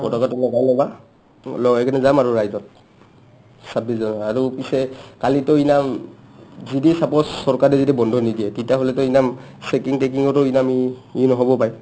পতকাটো মোৰ পৰা ল'বা, লৈ কিনে যাম আৰু ৰাইজত ছাব্বিছ জানুৱাৰী আৰু পিছে কালিটো ইনাম যদি suppose চৰকাৰে যদি বন্ধ নিদিয়ে তেতিয়াহ'লেটো ইনাম চেকিং-টেকিংৰো ইনামী ই নহ'ব পাই ?